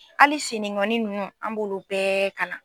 Hali siningɔnin ninnu an b'olu bɛɛ kalan.